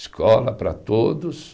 Escola para todos.